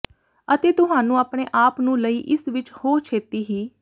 ਅਤੇ ਤੁਹਾਨੂੰ ਆਪਣੇ ਆਪ ਨੂੰ ਲਈ ਇਸ ਵਿੱਚ ਹੋ ਛੇਤੀ ਹੀ